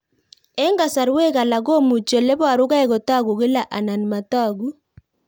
Eng'kasarwek alak komuchi ole parukei kotag'u kila anan matag'u